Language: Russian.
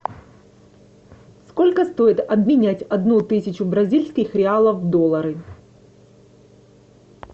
сколько стоит обменять одну тысячу бразильских реалов в доллары